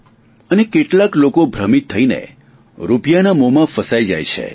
અને કેટલાક લોકો ભ્રમિત થઇને રૂપિયાના મોહમાં ફસાઈ જઈએ છીએ